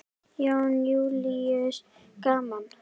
Jón Júlíus: Gaman?